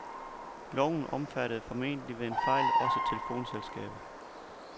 Loven omfattede formentlig ved en fejl også telefonselskabet.